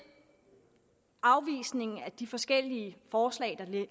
afvisningen af de forskellige forslag der